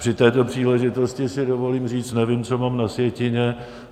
Při této příležitosti si dovolím říct, nevím, co mám na sjetině.